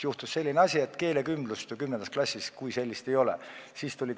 Juhtus selline asi, et keelekümblust kui sellist ju 10. klassis ei ole.